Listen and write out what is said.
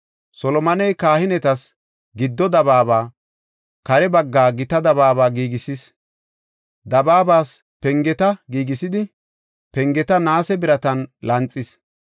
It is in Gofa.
Solomoney kahinetas giddo dabaaba, kare bagga gita dabaaba giigisis; dabaabas pengeta giigisidi, pengeta naase biratan lanxis.